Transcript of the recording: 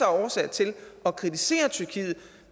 af årsager til at kritisere tyrkiet